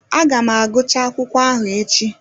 Aga m agụchaa akwụkwọ ahụ echi